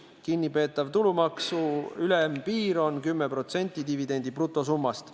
Kinnipeetava tulumaksu ülempiir on 10% dividendi brutosummast.